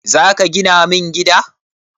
Zaka gina min gida?